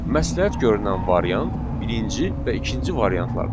Məsləhət görünən variant birinci və ikinci variantlardır.